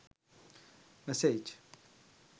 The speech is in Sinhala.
massage